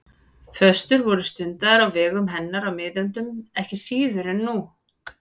Föstur voru stundaðar á vegum hennar á miðöldum ekki síður en nú.